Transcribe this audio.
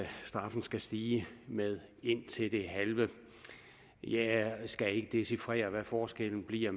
straffen skal stige med indtil det halve jeg skal ikke dechifrere hvad forskellen bliver